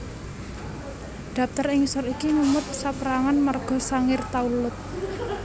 Daptar ing ngisor iki ngemot saperangan marga Sangir Talaud